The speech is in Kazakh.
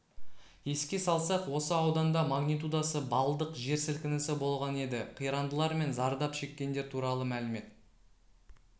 еске салсақ осы ауданда магнитудасы баллдық жер сілкінісі болған еді қирандылар мен зардап шеккендер туралы мәлімет